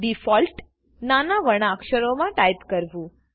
defaultનાના વર્ણક્ષરોમાં ટાઈપ કરવું